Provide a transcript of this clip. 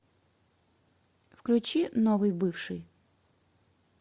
включи новый бывший